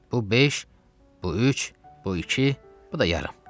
Bu beş, bu üç, bu iki, bu da yarım.